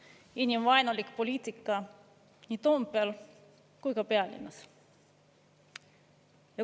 Inimvaenulik poliitika nii Toompeal kui ka pealinnas.